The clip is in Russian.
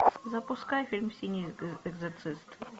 запускай фильм синий экзорцист